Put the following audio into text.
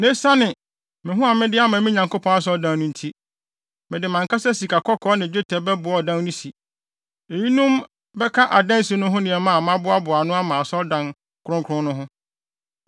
Na esiane me ho a mede ama me Nyankopɔn Asɔredan no nti, mede mʼankasa sikakɔkɔɔ ne dwetɛ bɛboa ɔdan no si. Eyinom bɛka adansi no ho nneɛma a maboaboa ano ama asɔredan kronkron no ho.